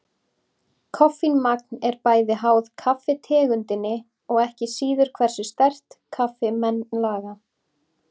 Koffínmagn er bæði háð kaffitegundinni og ekki síður hversu sterkt kaffi menn laga.